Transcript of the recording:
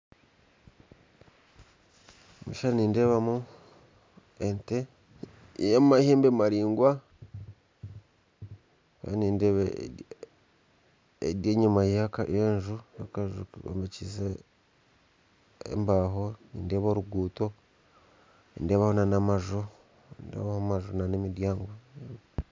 Omu kishuushani nindeebamu ente y'amahembe maraingwa ndiyo nindeeba eri enyima y'akanju kombekyise embaho nindeeba oruguuto nindeebaho n'amaju n'emiryango